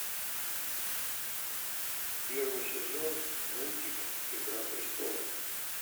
первый сезон мультик игра престолов